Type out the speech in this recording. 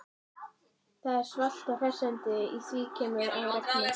Það er svalt og hressandi, í því keimur af regni.